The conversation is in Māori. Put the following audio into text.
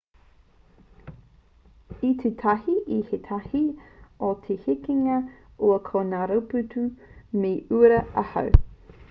i tū tahi ki ētahi o te hekenga ua ko ngā rautupu me te uira auau